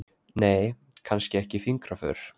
Nei, kannski ekki fingraför.